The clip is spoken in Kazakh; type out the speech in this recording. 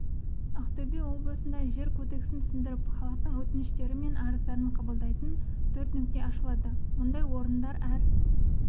ақтөбе облысында жер кодексін түсіндіріп халықтың өтініштері мен арыздарын қабылдайтын төрт нүкте ашылады мұндай орындар әр